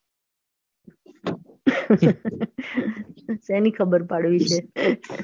સેની ખબર પાડવી છે.